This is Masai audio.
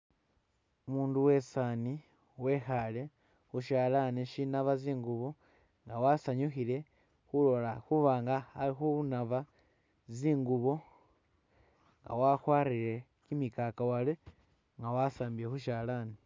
Umundu wesani wekhale khushalani shinaba tsi’ngubo wasanyukhile khubanga akhunaba zingubo wakwarire kyimikakawale nga wasambile khushalani